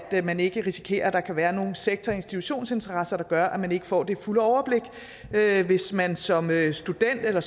at man ikke risikerer at der kan være nogle sektor og institutionsinteresser der gør at man ikke får det fulde overblik hvis man som student eller